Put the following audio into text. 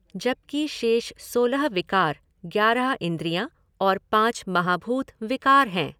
जबकि शेष सोलह विकार ग्यारह इन्द्रियाँ और पाँच महाभूत विकार हैं।